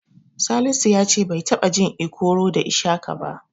Salisu ya ce bai taɓa jin Ikoro da Ishaka ba.